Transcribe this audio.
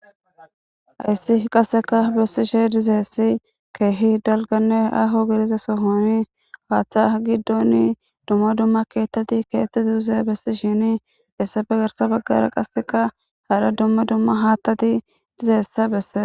Hayssi qasseka bessishe dizeessi keehi dalganne aho gidiza sohoni waatha giddonni dumma dumma keettati keetti duuse bessishini issabe garsa baggara qasseka harha dumma dumma haattati dizeesse besses.